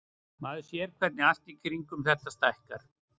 Maður sér hvernig allt í kringum þetta stækkar.